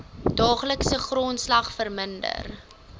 daaglikse grondslag verminder